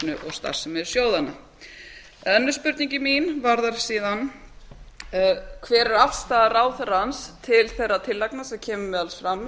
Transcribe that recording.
starfsemi sjóðanna önnur spurningin mín varðar síðan hver er afstaða ráðherrans til þeirra tillagna sem kemur meðal annars